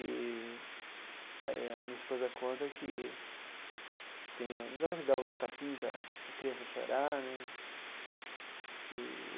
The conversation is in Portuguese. E aí a minha esposa conta que tem o... não é que dá o tapinha para para criança chorar, né?